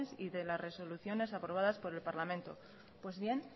y de las resoluciones aprobadas por el parlamento pues bien